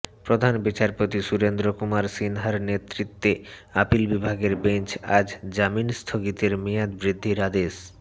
প্রধান বিচারপতি সুরেন্দ্র কুমার সিনহার নেতৃত্বে আপিল বিভাগের বেঞ্চ আজ জামিন স্থগিতের মেয়াদ বৃদ্ধির আদেশ